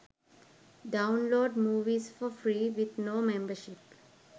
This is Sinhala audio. download movies for free with no membership